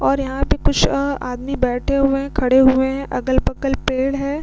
और यहाँ पे कुछ अ आदमी बैठे हुए है खड़े हुए है अगल-बगल पेड़ है।